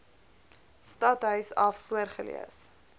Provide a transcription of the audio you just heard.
stadhuis af voorgelees